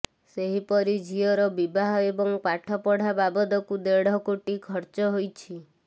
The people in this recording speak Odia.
ସେହିପରି ଝିଅର ବିବାହ ଏବଂ ପଠାପଢ଼ା ବାବଦକୁ ଦେଢ଼ କୋଟି ଖର୍ଚ୍ଚ ହୋଇଛି